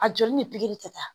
A joli ni pikiri kɛta